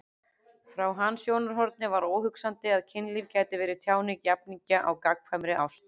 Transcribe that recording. Frá hans sjónarhorni var óhugsandi að kynlíf gæti verið tjáning jafningja á gagnkvæmri ást.